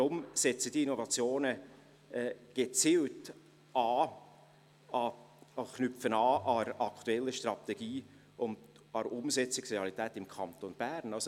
Deshalb knüpfen diese Innovationen gezielt an der aktuellen Strategie und an der Umsetzungsrealität im Kanton Bern an.